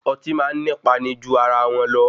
Ọtí máa ní pani ju ara wọn lọ.